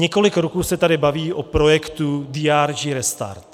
Několik roků se tady mluví o projektu DRG restart.